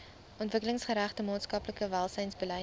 ontwikkelingsgerigte maatskaplike welsynsbeleid